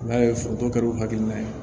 N'a ye foronto kɛr'o hakilina ye